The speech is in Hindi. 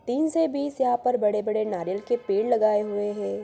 तीन से बीस यहाँ पर बड़े-बड़े नारियल के पेड़ लगाएँ हुए हैं।